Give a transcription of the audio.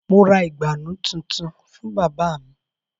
Mo ra ìgbànú tuntun fún bábà mu